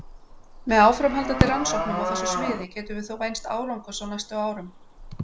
Með áframhaldandi rannsóknum á þessu sviði getum við þó vænst árangurs á næstu árum.